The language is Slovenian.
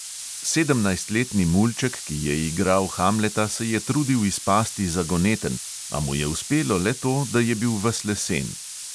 Sedemnajstletni mulček, ki je igral hamleta, se je trudil izpasti zagoneten, a mu je uspelo le to, da je bil ves lesen.